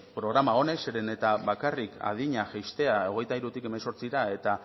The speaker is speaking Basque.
programa honek zeren eta bakarrik adina jaistea hogeita hirutik hemezortzira eta